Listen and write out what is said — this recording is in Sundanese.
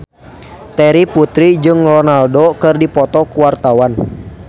Terry Putri jeung Ronaldo keur dipoto ku wartawan